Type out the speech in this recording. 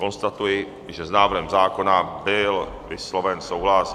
Konstatuji, že s návrhem zákona byl vysloven souhlas.